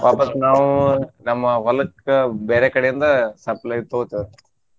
ವಾಪಾಸ್ ನಾವು ನಮ್ಮ ಹೊಲಕ್ಕ ಬ್ಯಾರೆ ಕಡೆಯಿಂದ supply ತಗೋತೆವ್ರಿ.